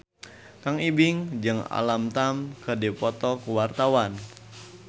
Kang Ibing jeung Alam Tam keur dipoto ku wartawan